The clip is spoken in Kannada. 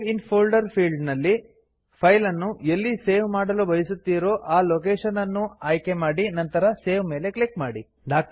ಸೇವ್ ಇನ್ ಫೋಲ್ಡರ್ ಫೀಲ್ಡ್ ಅಲ್ಲಿ ನಲ್ಲಿ ಫೈಲ್ ಅನ್ನು ಎಲ್ಲಿ ಸೇವ್ ಮಾಡಲು ಬಯಸುತ್ತಿರೋ ಆ ಲೊಕೇಶನ್ ಅನ್ನು ಆಯ್ಕೆ ಮಾಡಿ ನಂತರ ಸೇವ್ ಮೇಲೆ ಕ್ಲಿಕ್ ಮಾಡಿ